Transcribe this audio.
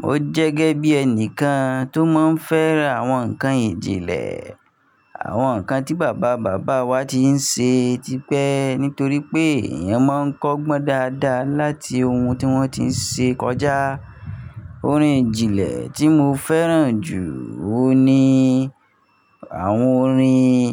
Mo jẹ́ gẹ́gẹ́ bí ẹnìkan tó máa ń fẹ́ àwọn nǹkan ìjìnlẹ̀, àwọn nǹkan tí bàbá bàbá wa ti ń ṣe tipẹ́ nítorí pé èèyàn máa ń kọ́gbọ́n dáadáa láti ohun tí wọ́n ti ń ṣe kọjá. Orin ìjìnlẹ̀ tí mo fẹ́ràn jù òun ni àwọn orin,